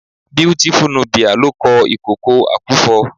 Beautiful Nubia ló kọ "Ìkòkò àkúfọ.."